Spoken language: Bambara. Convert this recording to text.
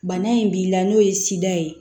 Bana in b'i la n'o ye ye